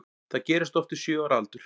Það gerist oft við sjö ára aldur.